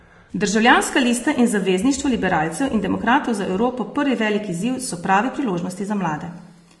Državljanska lista in Zavezništvo liberalcev in demokratov za Evropo Prvi velik izziv so prave priložnosti za mlade.